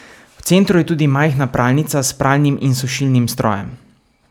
V centru je tudi majhna pralnica s pralnim in sušilnim strojem.